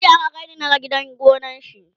jiya aka kaini na gan gidan gonan shi